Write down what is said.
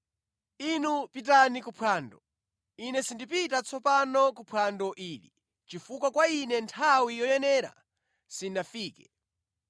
Inu pitani kuphwando. Ine sindipita tsopano kuphwando ili chifukwa kwa Ine nthawi yoyenera sinafike.”